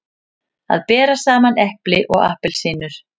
Að bera saman epli og appelsínur